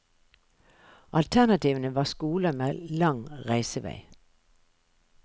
Alternativene var skoler med lang reisevei.